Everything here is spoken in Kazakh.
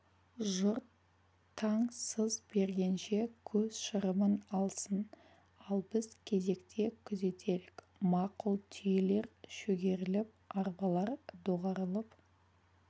жұрт таң сыз бергенше көз шырымын алсын ал біз кезектесе күзетелік мақұл түйелер шөгеріліп арбалар доғарылып